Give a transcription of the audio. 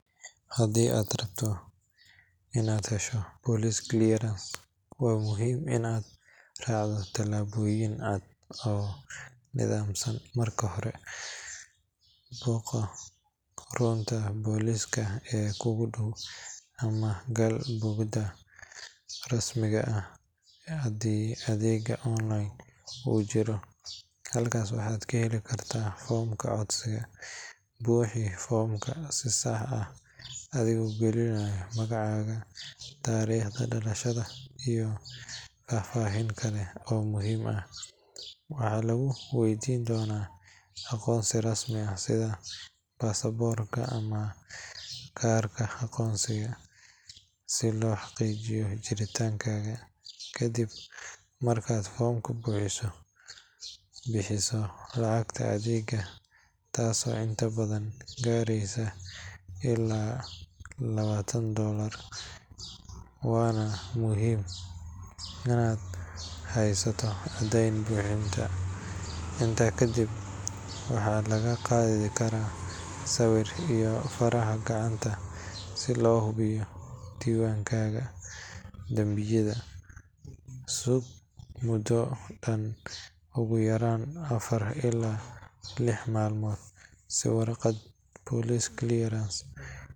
Haddii aad rabto in aad hesho police clearance, waa muhiim in aad raacdo tallaabooyin cad oo nidaamsan. Marka hore, booqo xarunta booliiska ee kuugu dhow ama gal boggooda rasmiga ah haddii adeegga online uu jiro. Halkaas waxaad ka heli kartaa foomka codsiga. Buuxi foomka si sax ah adigoo gelinaya magacaaga, taariikhda dhalashada, iyo faahfaahin kale oo muhiim ah. Waxaa lagu weydiin doonaa aqoonsi rasmi ah sida baasaboorka ama kaarka aqoonsiga si loo xaqiijiyo jiritaankaaga. Kadib markaad foomka buuxiso, bixiso lacagta adeega taasoo inta badan gaareysa ilaa labaatan doolar, waana muhiim in aad haysato caddayn bixinta. Intaa kadib, waxaa lagaa qaadi karaa sawir iyo faraha gacanta si loo hubiyo diiwaankaaga dambiyada. Sug muddo dhan ugu yaraan afar ilaa lix maalmood si warqadda police clearance.